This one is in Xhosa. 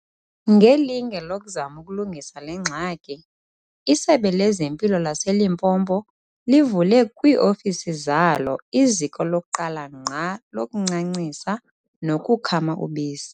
Ngelinge lokuzama ukulungisa le ngxaki, iSebe lezeMpilo laseLimpopo livule kwii-ofisi zalo iziko lokuqala ngqa lokuncancisa nokukhama ubisi.